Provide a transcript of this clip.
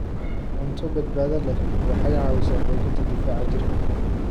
Cunto badbaado leh waxay caawisaa xoojinta difaaca jirka.